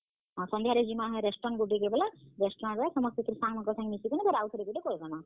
ହଁ, ସଂଧ୍ୟାରେ ଯିମା ହେ restaurant ଗୁଟେ ବେଲେ restaurant ରେ ଫେର୍ ସାଙ୍ଗମାନଙ୍କର ସାଙ୍ଗେ ମିଶି କି ଆଉ ଥରେ ଗୁଟେ କରିଦେମା।